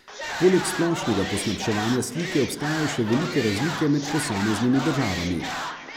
Poleg splošnega poslabševanja slike obstajajo še velike razlike med posameznimi državami.